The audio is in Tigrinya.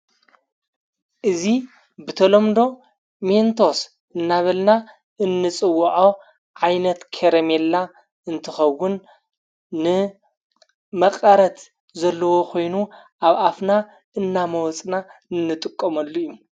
እዙ ብተሎምዶ ሜንቶስ እናበልና እንጽውዖ ዓይነት ከረሜላ እንትኸውን ንመቐረት ዘለዎ ኾይኑ ኣብ ኣፍና እናመወፅና እንጥቆምሉ እዩ።